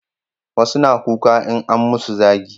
wasu na kuka in an musu zagi